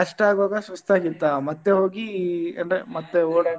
ಅಷ್ಟ ಆಗುವಾಗ ಸುಸ್ತಾಗಿತ್ತ ಮತ್ತೆ ಹೋಗಿ ಅಂದ್ರೆ ಮತ್ತೆ .